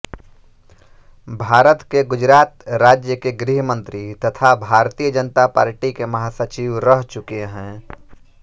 भारत के गुजरात राज्य के गृहमंत्री तथा भारतीय जनता पार्टी के महासचिव रह चुके हैं